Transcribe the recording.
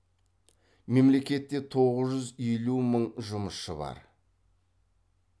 мемлекетте тоғыз жүз елу мың жұмысшы бар